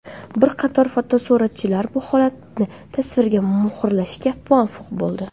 Bir qator fotosuratchilar bu holatni tasvirga muhrlashga muvaffaq bo‘ldi.